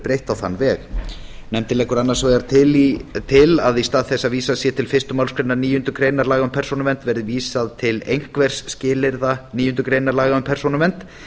breytt á þann veg nefndin leggur annars vegar til að í stað þess að vísað sé til fyrstu málsgrein níundu grein laga um persónuvernd verði vísað til einhvers skilyrða níundu grein laga um persónuvernd